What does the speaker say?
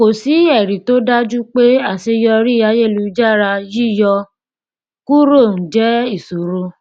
kò sí ẹrí tó dájú pé aṣeyọrí ayelujára yíyọ kúrò ń jẹ ìṣòro